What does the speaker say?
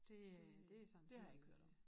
Det øh det sådan dét har jeg ikke hørt om